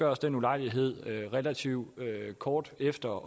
også den ulejlighed relativt kort efter